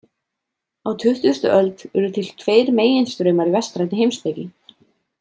Á tuttugustu öld urðu til tveir meginstraumar í vestrænni heimspeki.